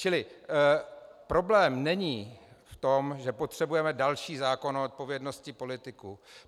Čili problém není v tom, že potřebujeme další zákon o odpovědnosti politiků.